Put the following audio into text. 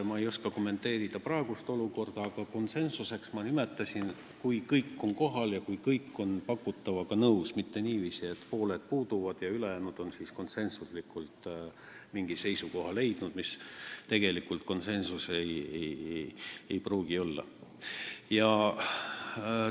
Ma ei oska kommenteerida praegust olukorda, aga konsensuseks ma nimetan seda, kui kõik on kohal ja on pakutavaga nõus, mitte niiviisi, et pooled puuduvad ja ülejäänud on siis konsensuslikult mingi seisukoha leidnud, mis tegelikult ei pruugi konsensust tähendada.